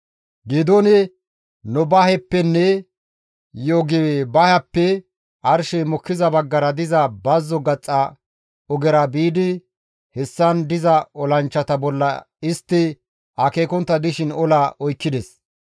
Geedooni Nobaheppenne Yogibahappe arshey mokkiza baggara diza bazzo gaxa ogera biidi hessan diza olanchchata bolla istti akeekontta dishin ola oykkides.